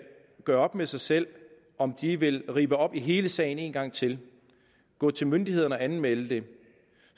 gøre op med sig selv om de vil ribbe op i hele sagen en gang til gå til myndighederne og anmelde det